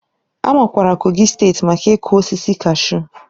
A makwaara Kogi steeti maka ịkụ osisi kashu.